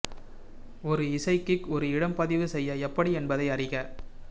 ஒரு இசை கிக் ஒரு இடம் பதிவு செய்ய எப்படி என்பதை அறிக